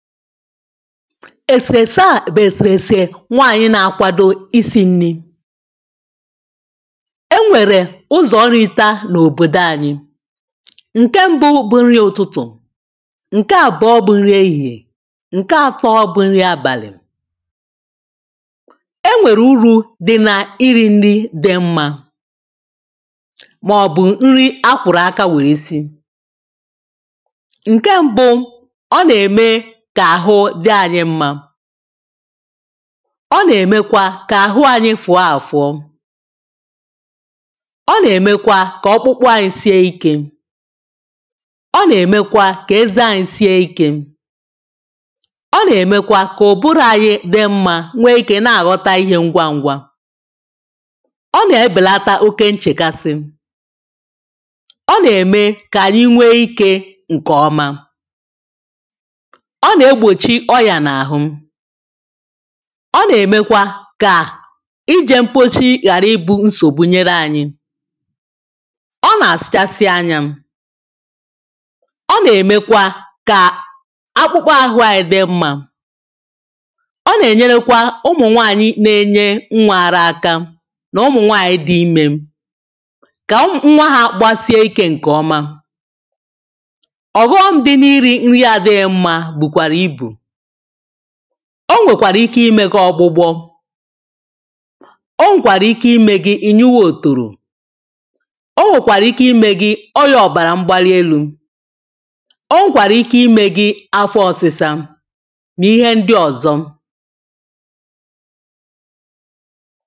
èsèfè a bụ̀ èsèfè nwaànyị nà-àkwado isi ṅri̇. e nwèrè ụzọ̀ nrịta n’òbòdò ànyị ǹke mbụ bụ ṅri ụ̀tụtụ̀, ǹke abụọ bụ nri ehìhè, ǹke atọ bụ nri abàlị̀. e nwèrè uru̇ dị nà iri̇ ṅri dị mmȧ màọ̀bụ̀ ṅri a kwùrù aka nwèrè isi̇. ǹke mbụ ọ nà-ème kà àhụ dị anyị mma, ọ na emekwa ka ahụ anyị fụ̀ọ àfọọ ọ nà-èmekwa kà ọkpụkpụ anyị sìe ikė ọ nà-èmekwa kà ẹzẹ á ǹsie ikė. ọ nà-èmekwa kà ùburu̇ anyị dị̇ mmȧ nwee ikė na-àghọta ihė ngwaǹgwa ọ nà-ebèlata oke nchèkasi ọ nà-ème kà ànyị nwee ikė ǹkèọma. Ọ na egbochi ọrịa n'ahụ ọ nà-èmekwa kà ijè mkpochi ghàra ibu̇ nsògbu nyere anyị ọ nà-àsụchasị anyȧ ọ nà-èmekwa kà akpụkpa ahụ̇ anyị dị mma ọ nà-ènyere kwa ụmụ̀ nwaanyị na-enye nwa ara aka nà ụmụ̀nwaanyị dị imė kà nwa ha gbasie ikė ǹkèọma. Ọhom dị na iri nri na adirọ mma bukwara ibu. o nwèkwàrà ike imė gi ọgbụgbọ o nwèkwàrà ike imė gi ị nyụwa òtòrò o nwèkwàrà ike imė gi ọyà ọ̀bàrà mgbarielu̇ o nwèkwàrà ike imė gi afọ ọsịsa n'ihe ndị ọzọ.